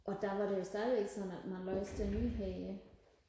og der var det jo stadigvæk sådan at man læste nyheder